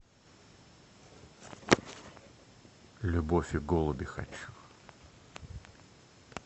любовь и голуби хочу